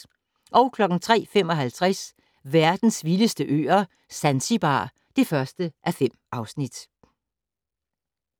03:55: Verdens vildeste øer - Zanzibar (1:5)